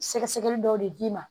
Sɛgɛsɛgɛli dɔw de d'i ma